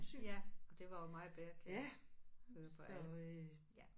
Ja og det var jo meget bedre kan jeg høre på alle ja